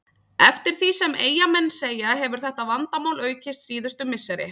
Eftir því sem Eyjamenn segja hefur þetta vandamál aukist síðustu misseri.